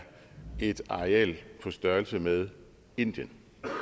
et areal på størrelse med indien